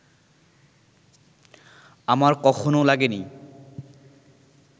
আমার কখনও লাগেনি